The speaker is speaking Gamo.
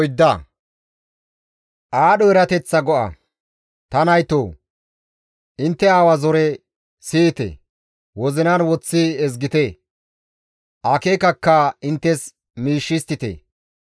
Ta naytoo! Intte aawa zore siyite; wozinan woththi ezgite; akeekakka inttes miish histtite.